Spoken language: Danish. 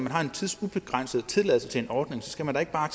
har en tidsubegrænset tilladelse til en ordning skal man ikke bare